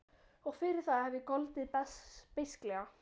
Og fyrir það hef ég goldið beisklega.